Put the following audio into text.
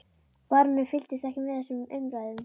Baróninn fylgdist ekki með þessum umræðum.